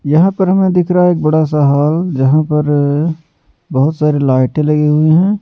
यहां पर हमें दिख रहा है एक बड़ा सा हॉल जहां पर बहुत सारी लाइटें लगी हुई हैं।